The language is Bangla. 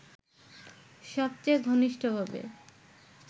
সবচেয়ে ঘনিষ্ঠভাবে